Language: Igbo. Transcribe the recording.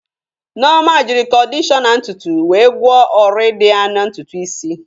Nneoma jịrị kọdishọna ntutu wee gwọọ ọrị dị ya na ntutu isi.